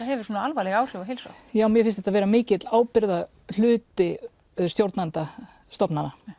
hefur svona alvarleg áhrif á heilsuna mér finnst þetta vera mikill ábyrgðarhluti stjórnanda stofnana